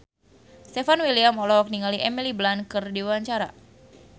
Stefan William olohok ningali Emily Blunt keur diwawancara